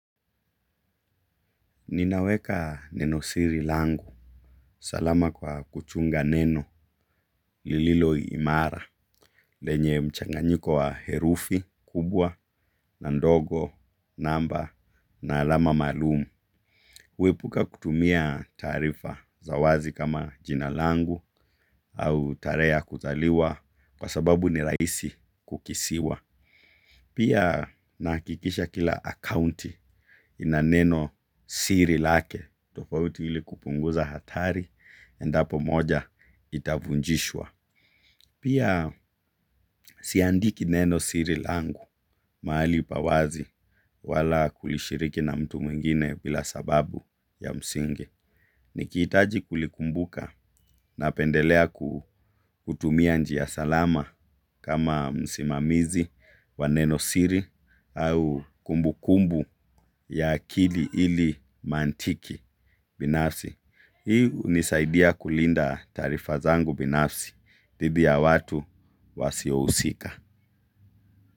Ninaweka neno siri langu. Salama kwa kuchunga neno lililoimara lenye mchanganyiko wa herufi kubwa na ndogo namba na alama maalum. Huepuka kutumia taarifa za wazi kama jina langu au tareheya kuzaliwa kwa sababu ni rahisi kukisiwa. Pia nahakikisha kila akaunti ina neno siri lake. Tofauti ili kupunguza hatari endapo moja itavunjishwa. Pia siandiki neno siri langu mahali pa wazi wala kulishiriki na mtu mwingine bila sababu ya msingi. Nikihitaji kulikumbuka napendelea kutumia njia salama kama msimamizi, wa neno siri au kumbukumbu ya akili ili mantiki binafsi. Hi hunisaidia kulinda taarifa zangu binafsi, dhidi ya watu wasiohusika.